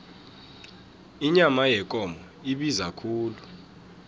inyama yekomo ibiza khulu